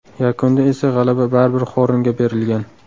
Yakunda esa g‘alaba baribir Xornga berilgan.